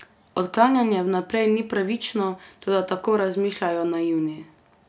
Odklanjanje vnaprej ni pravično, toda tako razmišljajo naivni.